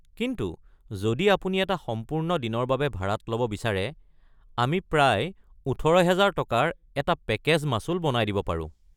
কিন্তু যদি আপুনি এটা সম্পূৰ্ণ দিনৰ বাবে ভাড়াত ল'ব বিচাৰে, আমি প্ৰায় ১৮,০০০ টকাৰ এটা পেকেজ মাচুল বনাই দিব পাৰো।